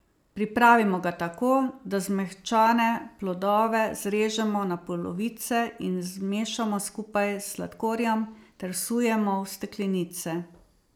Pripravimo ga tako, da zmehčane plodove zrežemo na polovice in zmešamo skupaj s sladkorjem ter vsujemo v steklenice.